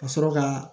Ka sɔrɔ ka